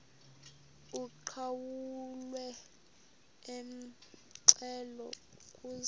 uqhawulwe umxhelo ukuze